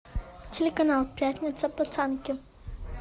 телеканал пятница пацанки